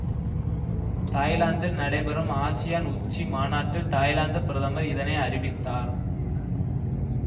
தாய்லாந்தில் நடைபெறும் ஆசியான் உச்சி மாநாட்டில் தாய்லாந்து பிரதமர் இதனை அறிவித்தார்